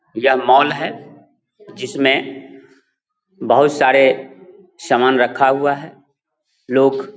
य मॉल है जिसमे बोहुत सारे समान रखा हुआ है। लोक --